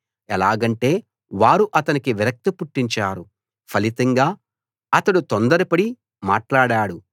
ఎలాగంటే వారు అతనికి విరక్తి పుట్టించారు ఫలితంగా అతడు తొందరపడి మాట్లాడాడు